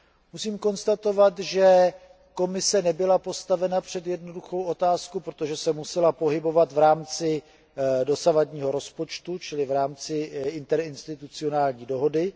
Musím konstatovat, že Komise nebyla postavena před jednoduchou otázku, protože se musela pohybovat v rámci dosavadního rozpočtu, čili v rámci interinstitucionální dohody.